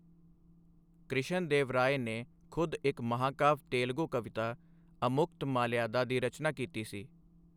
ਕ੍ਰਿਸ਼ਨ ਦੇਵ ਰਾਏ ਨੇ ਖੁਦ ਇੱਕ ਮਹਾਂਕਾਵਿ ਤੇਲਗੂ ਕਵਿਤਾ ਅਮੁਕਤਮਾਲਿਆਦਾ ਦੀ ਰਚਨਾ ਕੀਤੀ ਸੀ।